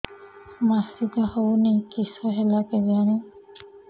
ମାସିକା ହଉନି କିଶ ହେଲା କେଜାଣି